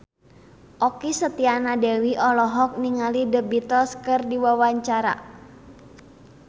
Okky Setiana Dewi olohok ningali The Beatles keur diwawancara